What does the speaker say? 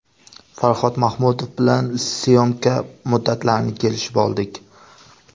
Farhod Mahmudov bilan syomka muddatlarini kelishib oldik.